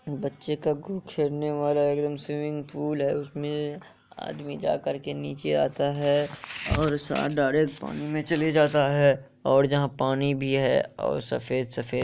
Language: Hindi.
बचे का खूब केलने वाला है एकदम स्विमिंग पूल है। उस में आदमी जा कर के नेचे आता हे जो डायरेक्ट पानी में चाल जाता हे । और जहा पानी भी हे और सफ़ेद सफ़ेद--